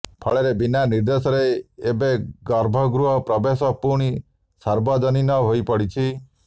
ଫଳରେ ବିନା ନିର୍ଦ୍ଦେଶରେ ଏବେ ଗର୍ଭଗୃହ ପ୍ରବେଶ ପୁଣି ସାର୍ବଜନୀନ ହୋଇପଡିଛି